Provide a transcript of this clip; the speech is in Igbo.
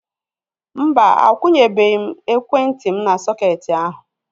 Mba, akwunyebe m ekwentị m n'sọketi ahu